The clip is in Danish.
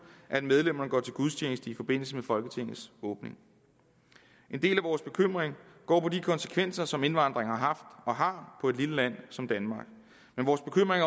at medlemmerne går til gudstjeneste i forbindelse med folketingets åbning en del af vores bekymring går på de konsekvenser som indvandringen har haft og har for et lille land som danmark men vores bekymring